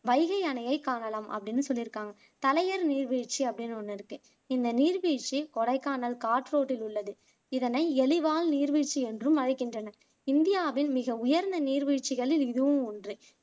வைகை அணையை காணலாம் அப்படின்னு சொல்லிருக்காங்க தலையர் நீர்வீழ்ச்சி அப்படின்னு ஒண்ணு இருக்கு இந்த நீர்வீழ்ச்சி கொடைக்கானல் காட்றோட்டில் உள்ளது இதனை எலிவால் நீர்வீழ்ச்சி என்றும் அழைக்கின்றனர் இந்தியாவின் மிக உயர்ந்த நீர்வீழ்ச்சிகளில் இதுவும் ஒன்று